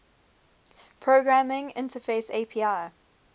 programming interface api